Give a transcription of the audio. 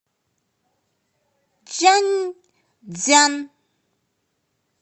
чжаньцзян